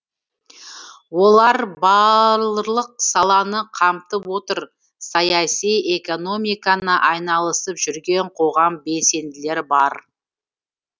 олар балрлық саланы қамтып отыр саяси экономикны айналысып жүрген қоғам белсенділері бар